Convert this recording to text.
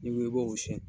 N'i ko i b'o siyɛn